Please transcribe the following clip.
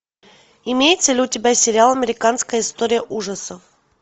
имеется ли у тебя сериал американская история ужасов